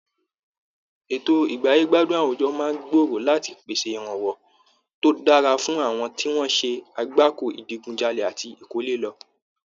Ètò ìgbáyé-gbádùn àwùjọ máa gbòòrò láti pèsè ìrànwọ́ tó dára fún àwọn tí wọ́n ṣe àgbákòo ìdigunjalè àti ìkọ́lé lọ.